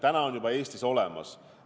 Need on juba Eestis olemas.